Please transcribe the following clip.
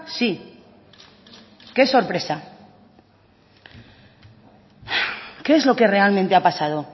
sí qué sorpresa qué es lo que realmente ha pasado